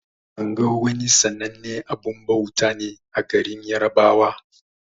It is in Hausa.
Sango wani sannanen abun bauta ne a garin yarbawa.